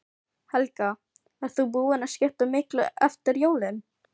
Helga: Ert þú búin að skipta miklu eftir jólin?